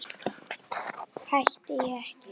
Hætti ég ekki?